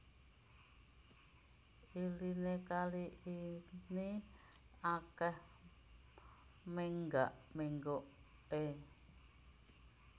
Iliné kali ini akèh mènggak ménggoké